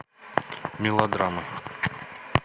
мелодрамы